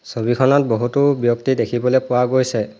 ছবিখনত বহুতো ব্যক্তি দেখিবলৈ পোৱা গৈছে।